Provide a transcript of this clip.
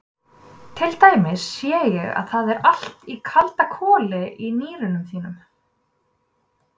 Til dæmis sé ég að það er allt í kaldakoli í nýrunum þínum.